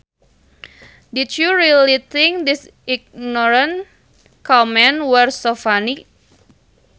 Did you really think his ignorant comments were so funny